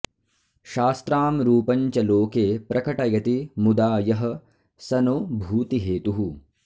शास्त्रां रूपं च लोके प्रकटयति मुदा यः स नो भूतिहेतुः